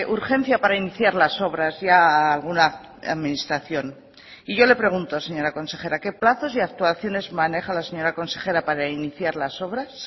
urgencia para iniciar las obras ya a alguna administración y yo le pregunto señora consejera qué plazos y actuaciones maneja la señora consejera para iniciar las obras